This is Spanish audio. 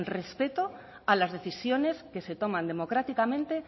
respeto a las decisiones que se toman democráticamente